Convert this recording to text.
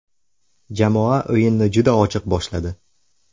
Jamoa o‘yinni juda ochiq boshladi.